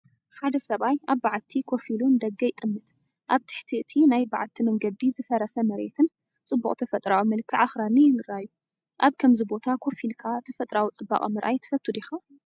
ሓደ ሰብኣይ ኣብ በዓቲ ኮፍ ኢሉ ንደገ ይጥምት። ኣብ ትሕቲ እቲ ናይ በዓቲ መንገዲ ዝፈረሰ መሬትን ጽቡቕ ተፈጥሮኣዊ መልክዕ ኣኽራንን ይራኣዩ። ኣብ ከምዚ ቦታ ኮፍ ኢልካ ተፈጥሮኣዊ ጽባቐ ምርኣይ ትፈቱ ዲኻ?